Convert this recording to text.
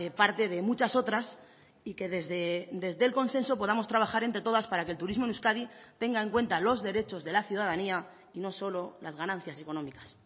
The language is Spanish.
parte de muchas otras y que desde el consenso podamos trabajar entre todas para que el turismo en euskadi tenga en cuenta los derechos de la ciudadanía y no solo las ganancias económicas